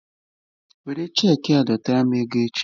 Were cheeki a dọtara m ego echi!